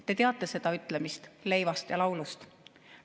Te teate seda ütlemist leivast ja laulust?